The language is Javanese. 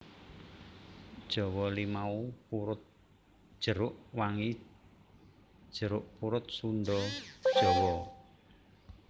Jawa limau purut jeruk wangi jeruk purut Sunda Jawa